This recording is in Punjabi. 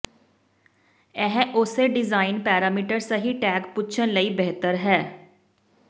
ਇਹ ਉਸੇ ਡਿਜ਼ਾਇਨ ਪੈਰਾਮੀਟਰ ਸਹੀ ਟੈਗ ਪੁੱਛਣ ਲਈ ਬਿਹਤਰ ਹੈ